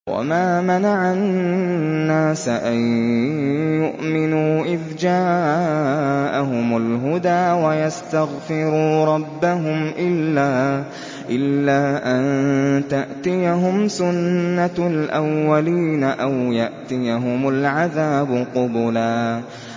وَمَا مَنَعَ النَّاسَ أَن يُؤْمِنُوا إِذْ جَاءَهُمُ الْهُدَىٰ وَيَسْتَغْفِرُوا رَبَّهُمْ إِلَّا أَن تَأْتِيَهُمْ سُنَّةُ الْأَوَّلِينَ أَوْ يَأْتِيَهُمُ الْعَذَابُ قُبُلًا